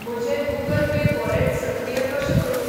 म्हजें Google Pay wallet सक्रिय कशें करूं?